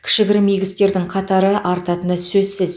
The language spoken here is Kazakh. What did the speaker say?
кішігірім игі істердің қатары артатыны сөзсіз